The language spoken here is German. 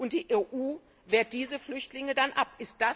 Und die EU wehrt diese Flüchtlinge dann ab.